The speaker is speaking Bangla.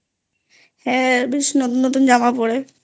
হ্যাঁ বেশ নতুন নতুন জামা পড়ে